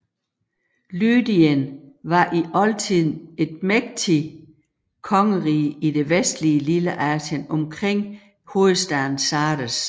Lydien var i oldtiden et mægtigt kongerige i det vestlige Lilleasien omkring hovedstaden Sardes